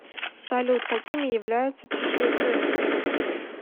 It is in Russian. салют какими являются чешуекрылые